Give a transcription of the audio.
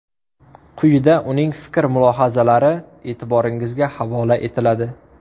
Quyida uning fikr-mulohazalari e’tiboringizga havola etiladi.